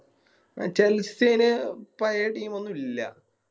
ആ ന് പയേ Team ഒന്നും ഇല്ല